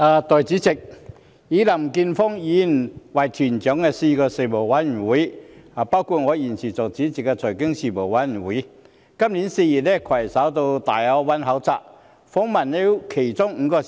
代理主席，林健鋒議員以團長的身份率領4個事務委員會，包括我現時擔任主席的財經事務委員會，於今年4月攜手到粵港澳大灣區考察，訪問了其中5個城市。